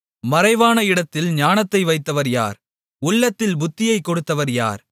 மறைவான இடத்தில் ஞானத்தை வைத்தவர் யார் உள்ளத்தில் புத்தியைக் கொடுத்தவர் யார்